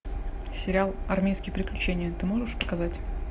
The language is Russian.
сериал армейские приключения ты можешь показать